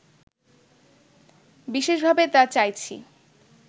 বিশেষভাবে তা চাইছি